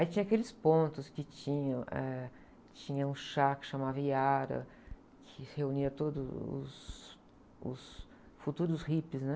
Aí tinha aqueles pontos que tinham, eh, tinha um chá que chamava Iara, que se reunia todos os, os futuros hippies, né?